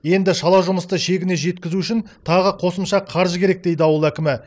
енді шала жұмысты шегіне жеткізу үшін тағы қосымша қаржы керек дейді ауыл әкімі